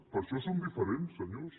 per això som diferents senyors